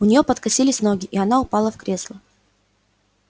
у нее подкосились ноги и она упала в кресло